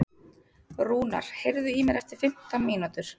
Rúnar, heyrðu í mér eftir fimmtán mínútur.